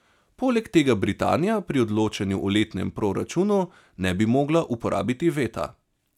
Poleg tega Britanija pri odločanju o letnem proračunu ne bi mogla uporabiti veta.